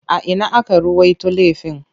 A ina aka ruwaito laifin?